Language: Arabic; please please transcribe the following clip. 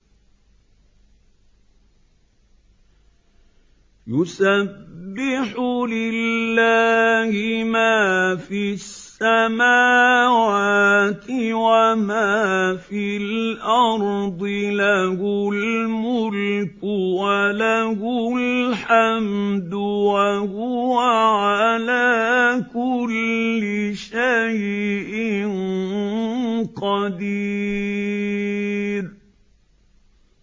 يُسَبِّحُ لِلَّهِ مَا فِي السَّمَاوَاتِ وَمَا فِي الْأَرْضِ ۖ لَهُ الْمُلْكُ وَلَهُ الْحَمْدُ ۖ وَهُوَ عَلَىٰ كُلِّ شَيْءٍ قَدِيرٌ